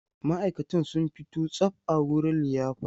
Ma'aikatan sun fito tsab a wurin liyafar.